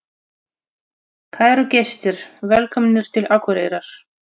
Kæru gestir! Velkomnir til Akureyrar.